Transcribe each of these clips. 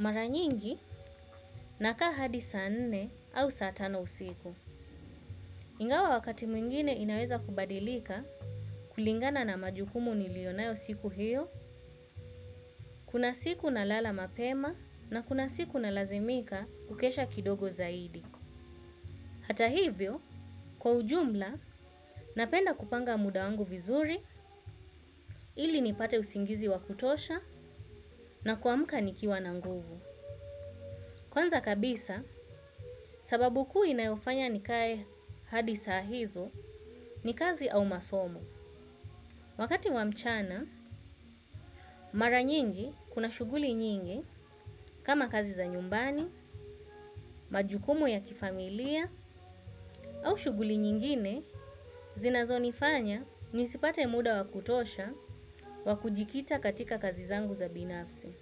Mara nyingi nakaa hadi saa nne au saa tano usiku. Ingawa wakati mwingine inaweza kubadilika kulingana na majukumu niliyonayo siku hiyo, kuna siku nalala mapema na kuna siku nalazimika kukesha kidogo zaidi. Hata hivyo, kwa ujumla, napenda kupanga muda wangu vizuri ili nipate usingizi wakutosha na kuamka nikiwa na nguvu. Kwanza kabisa, sababu kuu inayofanya nikae hadi saa hizo ni kazi au masomo. Wakati wa mchana, mara nyingi kuna shughuli nyingi kama kazi za nyumbani, majukumu ya kifamilia au shughuli nyingine zinazonifanya nisipate muda wakutosha wa kujikita katika kazi zangu za binafsi.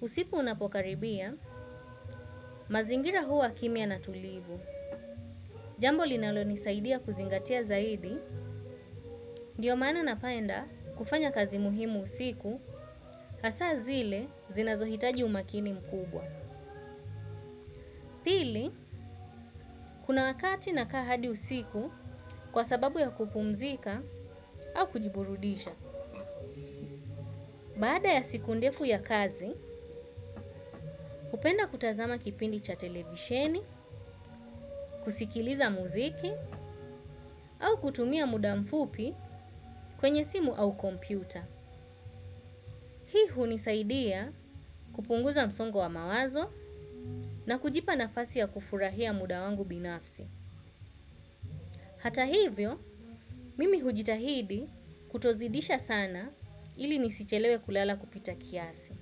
Usiku unapokaribia, mazingira huwa kimia na tulivu. Jambo linalonisaidia kuzingatia zaidi, ndiyo maana napaenda kufanya kazi muhimu usiku, hasa zile zinazohitaji umakini mkubwa. Kuna wakati nakaa hadi usiku kwa sababu ya kupumzika au kujiburudisha. Baada ya siku ndefu ya kazi, hupenda kutazama kipindi cha televisheni, kusikiliza muziki, au kutumia muda mfupi kwenye simu au kompyuta. Hii hunisaidia kupunguza msongo wa mawazo na kujipa nafasi ya kufurahia muda wangu binafsi. Hata hivyo, mimi hujitahidi kutozidisha sana ili nisichelewe kulala kupita kiasi.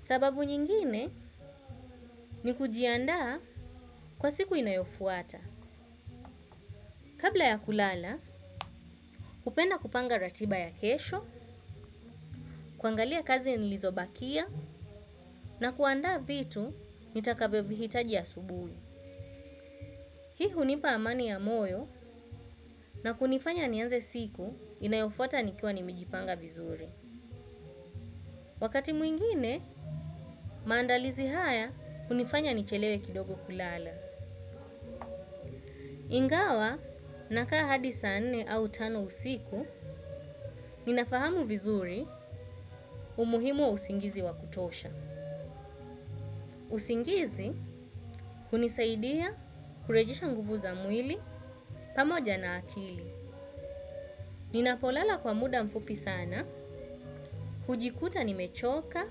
Sababu nyingine ni kujiandaa kwa siku inayofuata. Kabla ya kulala, hupenda kupanga ratiba ya kesho, kuangalia kazi nilizobakia na kuandaa vitu nitakavyovihitaji asubuhi. Hii hunipa amani ya moyo na kunifanya nianze siku inayofuata nikiwa nimejipanga vizuri. Wakati mwingine, maandalizi haya kunifanya nichelewe kidogo kulala. Ingawa nakaa hadi saa nne au tano usiku, ninafahamu vizuri umuhimu wa usingizi wa kutosha. Usingizi hunisaidia kurejesha nguvu za mwili pamoja na akili. Ninapolala kwa muda mfupi sana, hujikuta nimechoka,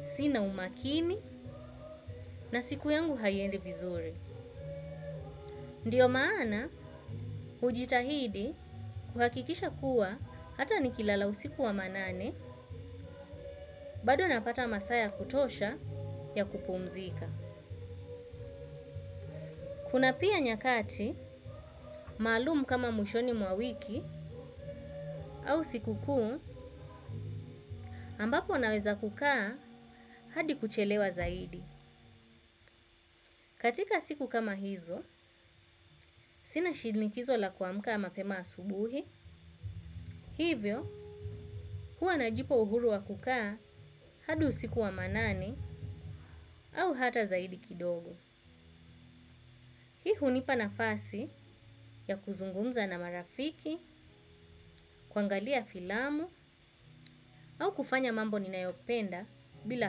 sina umakini na siku yangu hiendi vizuri. Ndiyo maana, hujitahidi kuhakikisha kuwa hata nikilala usiku wa manane, bado napata masaa ya kutosha ya kupumzika. Kuna pia nyakati, maalum kama mwishoni mwa wiki au siku kuu ambapo naweza kukaa hadi kuchelewa zaidi. Katika siku kama hizo, sina shinikizo la kuamuka mapema asubuhi, hivyo huwa najipa uhuru wa kukaa hadi usiku wa manane au hata zaidi kidogo. Hii hunipa nafasi ya kuzungumza na marafiki, kuangalia filamu au kufanya mambo ninayopenda bila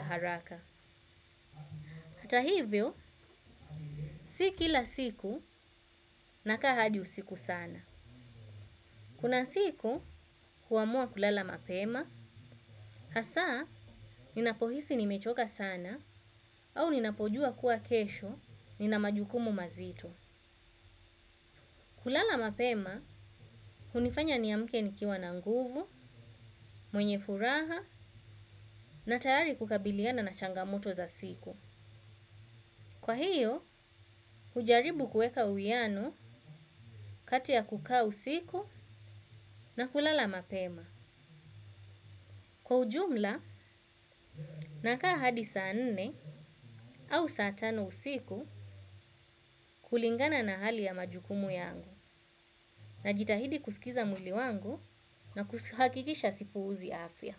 haraka. Hata hivyo, si kila siku nakaa hadi usiku sana. Kuna siku huamua kulala mapema, hasa ninapohisi nimechoka sana au ninapojua kuwa kesho nina majukumu mazito. Kulala mapema, hunifanya niamke nikiwa na nguvu, mwenye furaha na tayari kukabiliana na changamoto za siku. Kwa hiyo, hujaribu kuweka uwiano kati ya kukaa usiku na kulala mapema. Kwa ujumla, nakaa hadi saa nne au saa tano usiku kulingana na hali ya majukumu yangu najitahidi kusikiza mwilli wangu na kuhakikisha sipuuzi afya.